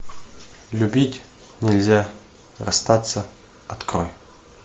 любить нельзя расстаться открой